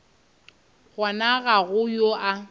gona ga go yo a